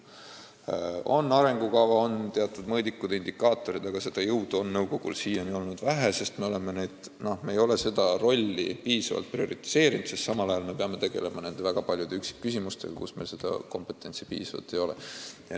On arengukava, on teatud mõõdikud ja indikaatorid, aga seda jõudu on nõukogul siiani olnud vähe, sest me ei ole seda rolli piisavalt prioriseerinud, kuna samal ajal me peame tegelema väga paljude üksikküsimustega, kus meil kompetentsi piisavalt ei ole.